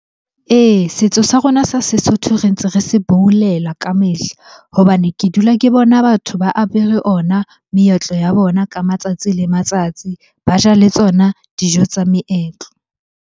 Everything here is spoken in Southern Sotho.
Ee, setso sa rona sa Sesotho re ntse re se boulela ka mehla hobane ke dula ke bona batho ba apere ona meetlo ya bona ka matsatsi le matsatsi. Ba ja le tsona dijo tsa meetlo.